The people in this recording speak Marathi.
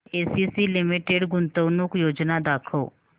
एसीसी लिमिटेड गुंतवणूक योजना दाखव